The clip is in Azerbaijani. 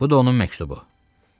Bu da onun məktubu.